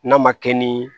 N'a ma kɛ ni